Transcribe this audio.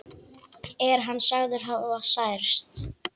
Er hann sagður hafa særst.